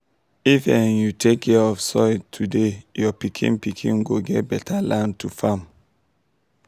if um you take care of soil today your pikin pikin go get beta land to farm.